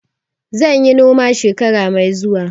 Zan yi noma shekara mai zuwa.